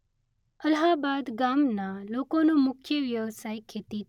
અલ્હાબાદ ગામના લોકોનો મુખ્ય વ્યવસાય ખેતી.